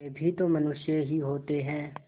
वे भी तो मनुष्य ही होते हैं